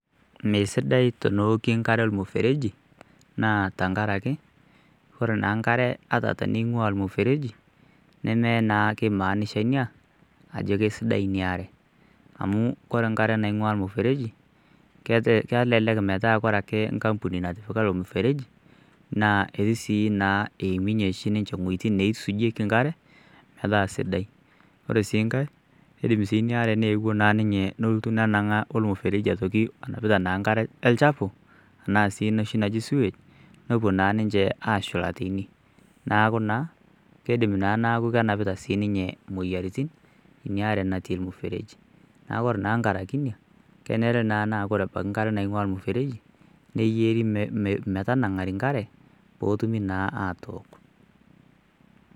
Meisidai tonooki enkare ormuufereji naa tankaraki ore naa nkare ata teneing'ua ilmufereji neme naa kimaanisha inia ajo keisidai inia are amu kore nkare naingua irmufereji keeta kelelek metaa kore ake nkampuni natipika ilo mufereji naa eti sii naa eiminyie oshi sininche ing'ueitin neisujieki inkare metaa sidai ore sii nkae keidim sii inia are nelotu nenang'aa olmufereji atoki onapita naa nkare olchafu enaa sii enoshi naji sewage nopuo naa ninche ashula teinenaaku naa keidim naa naakukanapita siininye moyiaritin inia are natii ilmufereji niaku ore naa nkaraki inia kenere naa naa kore nkare naing'ua abaki ilmufereji neyieri me metanang'ari inkare potumi naa atook.